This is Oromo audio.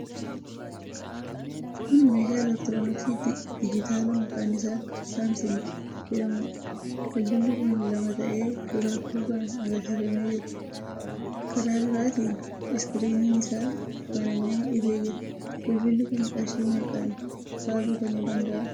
Kun meeshaa elektirooniksii dijitaalaa maqaan isaa 'SAMSUMG' jedhamuudha. Bilbilli kun lama ta'ee duraafi duubaan agarsiifamee jira. Karaa duraatiin 'iskiriinii'n isaa banamee ifee jira. Bilbilli kun qarshii meeqaan faa bitamuu danda'a?